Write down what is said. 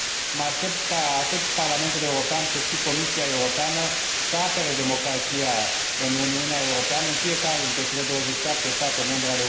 Mă aștept ca atât Parlamentul European, cât și Comisia Europeană să apere democrația în Uniunea Europeană, în fiecare dintre cele 27 de state membre.